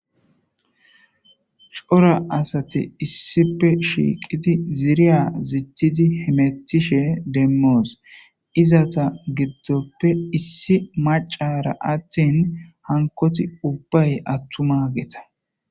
cora asate issipe shiiqidi ziiriya zittidi hemettishe demmoos izata giddoppe issi macara attin hankoti ubbay attuma geeta